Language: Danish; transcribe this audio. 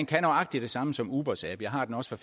kan nøjagtig det samme som ubers app jeg har den også